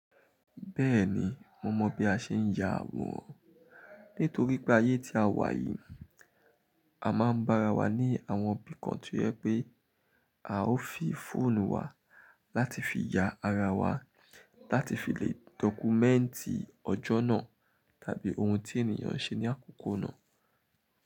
Bẹ́ẹ̀ni, mo mọ̀ bí a ṣe ń ya àwòrán. Nítorí pé ayé tí a wà yìí, a máa ń bára wa ní àwọn bí kan tí ó yẹ pé à ó fi fóònù wa láti fi ya ara wa, láti fi lé dọ́kúmẹ́ǹtì ọjọ́ náà tàbí ohun tí ènìyàn ṣe ní àkókò náà.